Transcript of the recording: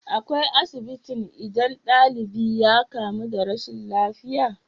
Akwai asibitin idan dalibi ya kamu da rashin lafiya?